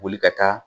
Boli ka taa